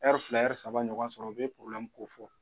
fila Ɲsaba ɲɔgɔn sɔrɔ u bɛ kofɔ